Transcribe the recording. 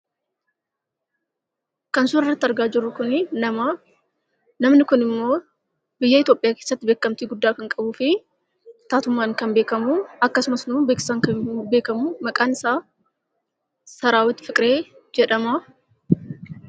Kan suura kanarratti argaa jirru kunii nama. Namni kunimmoo biyya Itoopiyaa keesaatti beekkamtii guddaa kan qabuufi taatummaan kan beekkamuu, akkasumasimmoo beeksisaan kan beekkamuu, maqaan isaa Saraawwit Fiqiree jedhama.